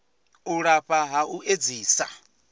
u lafha ha u edzisa